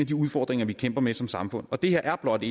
de udfordringer vi kæmper med som samfund det her er blot